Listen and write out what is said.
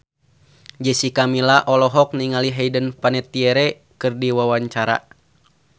Jessica Milla olohok ningali Hayden Panettiere keur diwawancara